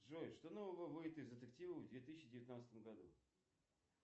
джой что нового выйдет из детективов в две тысячи девятнадцатом году